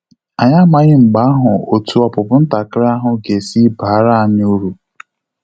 Anyị amaghị mgbe ahụ otu opupu ntakịrị ahụ ga esi baara anyị uru